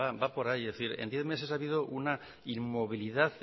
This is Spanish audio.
va por ahí es decir en diez meses ha habido una inmovilidad